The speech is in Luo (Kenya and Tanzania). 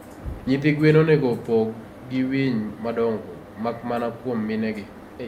nyithi gwen onego opog gi winy madongo, mak mana kwom mine gi.